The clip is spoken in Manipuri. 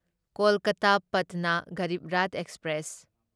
ꯀꯣꯜꯀꯇꯥ ꯄꯥꯠꯅ ꯒꯔꯤꯕ ꯔꯥꯊ ꯑꯦꯛꯁꯄ꯭ꯔꯦꯁ